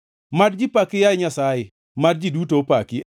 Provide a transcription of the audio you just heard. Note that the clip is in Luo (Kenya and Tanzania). Mad ji paki, yaye Nyasaye; mad ji duto opaki.